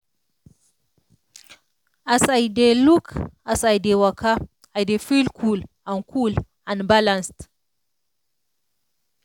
as i dey look as i dey waka i dey feel cool and cool and balanced.